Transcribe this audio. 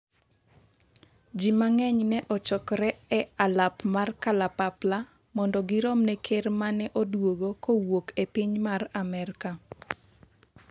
Ji mang'eny ne ochokore e alap mar kalapapla mondo girom ne ker mane oduogo kowuok e piny mar Amerka